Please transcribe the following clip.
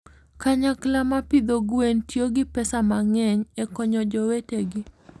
Kanyakla ma pidho gwen tiyo gi pesa mang'eny e konyo jowetegi.